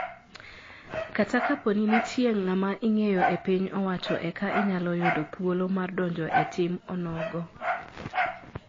Kata kaponi nitie ngama ingeyo e piny owacho eka inyalo yudo thuolo mar donjoe e tim onogo